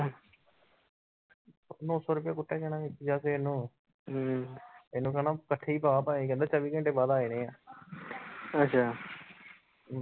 ਅੱਛਾ।